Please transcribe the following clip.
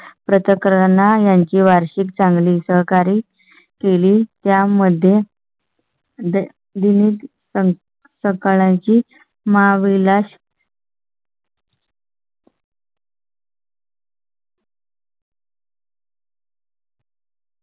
प्रत्येक राणा यांची वार्षिक चांगली सहकारी केली. त्या मध्ये. दिनी सकाळ ची माळ विलास.